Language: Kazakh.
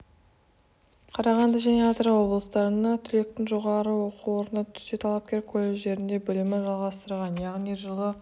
қарағанды және атырау облыстарына түлектің жоғары оқу орнына түссе талапкер колледждерде білімін жалғастырған яғни жылы